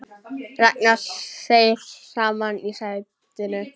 Ragnar seig saman í sætinu.